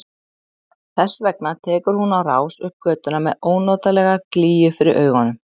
Þess vegna tekur hún á rás upp götuna með ónotalega glýju fyrir augunum.